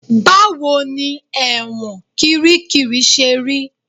Báwo ni ẹ̀wọ̀n kiríkirì ṣe rí?